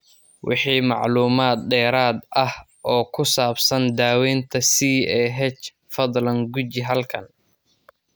Wixii macluumaad dheeraad ah oo ku saabsan daaweynta CAH, fadlan guji halkan.